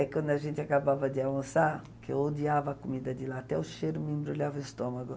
É quando a gente acabava de almoçar, que eu odiava a comida de lá, até o cheiro me embrulhava o estômago.